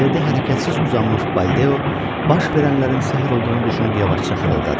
Yerdə hərəkətsiz uzanmış Baldeo, baş verənlərin sehr olduğunu düşünüb yavaşca xırıldadı.